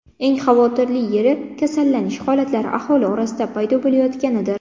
Eng xavotirli yeri kasallanish holatlari aholi orasidan paydo bo‘layotganidir.